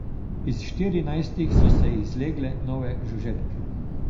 Iz štirinajstih so se izlegle nove žuželke.